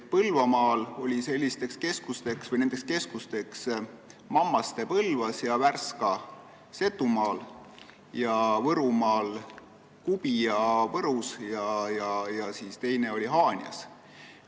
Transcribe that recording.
Põlvamaal olid sellised keskused Mammastes ja Värskas Setumaal ning Võrumaal Kubijas ja Haanjas.